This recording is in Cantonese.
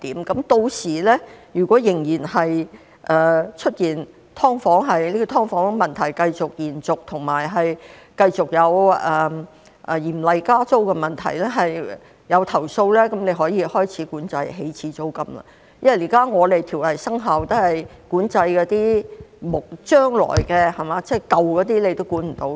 屆時如果"劏房"問題延續，以及繼續有加租厲害的問題，出現投訴，局長可以開始管制起始租金，因為現在條例生效後也是管制將來的情況，那些舊有租約也是無法管制的。